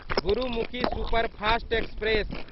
Gurmukhi superfast express